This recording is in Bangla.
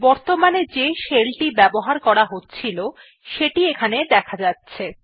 বর্তমানে যে শেল টি ব্যবহার করা হচ্ছিল সেটি এখানে দেখা যাচ্ছে